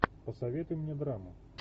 посоветуй мне драму